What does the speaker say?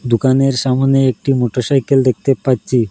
দোকানের সামোনে একটি মোটরসাইকেল দেখতে পাচ্চি।